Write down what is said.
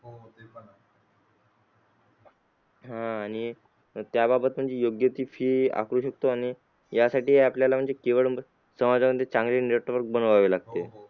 आह आणि त्याबाबत म्हणजे योग्य ती fee आकारू शकतो आणि यासाठी आपल्याला म्हणजे केवळ समाजामध्ये चांगले network बनवावे लागते.